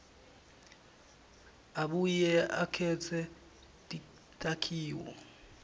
abuye akhetse takhiwo